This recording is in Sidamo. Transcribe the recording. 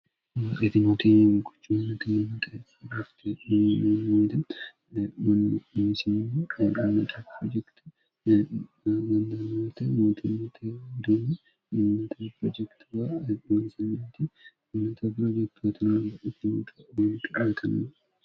etinotenyimogochu hintimxeafitemimnedmisim imxe projekti manamyt mootenote duyi minnat pirojekti warewn2amnti ymt birojekttn utmot yoniatinno